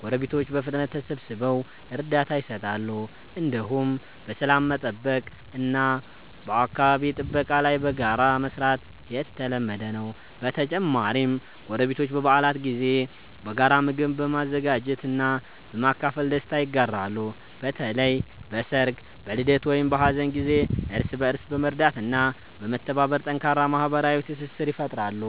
ጎረቤቶች በፍጥነት ተሰብስበው እርዳታ ይሰጣሉ። እንዲሁም በሰላም መጠበቅ እና በአካባቢ ጥበቃ ላይ በጋራ መስራት የተለመደ ነው። በተጨማሪም ጎረቤቶች በበዓላት ጊዜ በጋራ ምግብ በመዘጋጀት እና በማካፈል ደስታ ይጋራሉ። በተለይ በሰርግ፣ በልደት ወይም በሀዘን ጊዜ እርስ በእርስ በመርዳት እና በመተባበር ጠንካራ ማህበራዊ ትስስር ይፈጥራሉ።